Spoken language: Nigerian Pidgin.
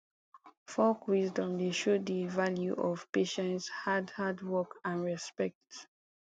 folk wisdom dey show de value of patience hard hard work and respect